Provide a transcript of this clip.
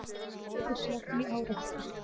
Strætisvagn í árekstri